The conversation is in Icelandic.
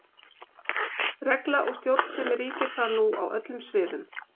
Regla og stjórnsemi ríkir þar nú á öllum sviðum.